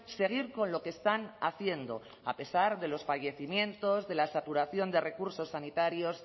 seguir con lo que están haciendo a pesar de los fallecimientos de la saturación de recursos sanitarios